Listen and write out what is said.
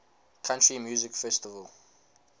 country music festival